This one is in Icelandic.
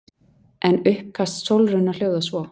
En uppkast Sólrúnar hljóðar svo